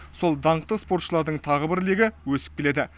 сол даңқты спортшылардың тағы бір легі өсіп келеді